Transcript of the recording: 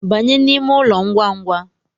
Banye n’ime ụlọ ngwangwa